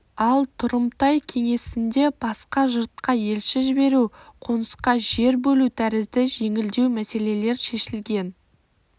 ал тұрымтай кеңесінде басқа жұртқа елші жіберу қонысқа жер бөлу тәрізді жеңілдеу мәселелер шешілген